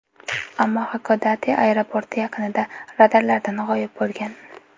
Ammo Xakodate aeroporti yaqinida radarlardan g‘oyib bo‘lgan.